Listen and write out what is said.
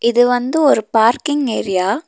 இது வந்து ஒரு பார்க்கிங் ஏரியா .